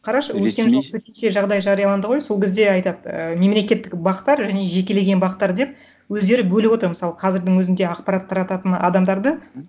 қарашы өткен жолы төтенше жағдай жарияланды ғой сол кезде айтады і мемлекеттік бақ тар және жекелеген бақ тар деп өздері бөліп отыр мысалы қазірдің өзінде ақпарат тарататын адамдарды мхм